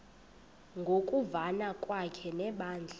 ngokuvana kwakhe nebandla